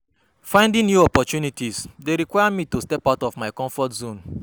Finding new opportunities dey require me to step out of my comfort zone.